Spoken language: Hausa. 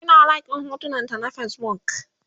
Ina like ɗin hotunan ta na Facebook